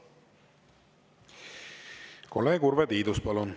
Kolleeg Urve Tiidus, palun!